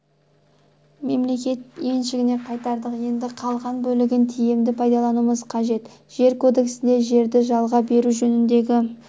мемлекет меншігіне қайтардық енді қалған бөлігін тиімді пайдалануымыз қажет жер кодексінде жерді жалға беру жөніндегі